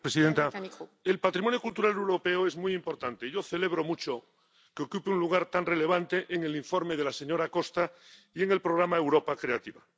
Señora presidenta, el patrimonio cultural europeo es muy importante, y yo celebro mucho que ocupe un lugar tan relevante en el informe de la señora Costa y en el programa Europa Creativa.